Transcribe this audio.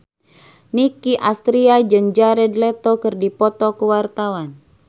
Nicky Astria jeung Jared Leto keur dipoto ku wartawan